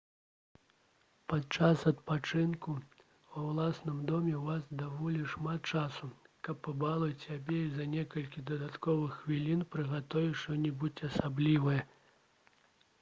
падчас адпачынку ва ўласным доме ў вас даволі шмат часу каб пабалаваць сябе і за некалькі дадатковых хвілін прыгатаваць што-небудзь асаблівае